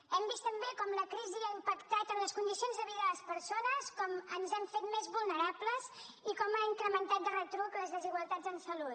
hem vist també com la crisi ha impactat en les condicions de vida de les persones com ens hem fet més vulnerables i com ha incrementat de retruc les desigualtats en salut